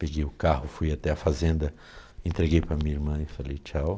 Peguei o carro, fui até a fazenda, entreguei para minha irmã e falei tchau.